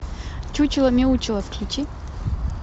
чучело мяучело включи